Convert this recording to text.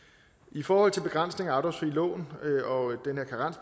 i forhold til begrænsning af afdragsfri lån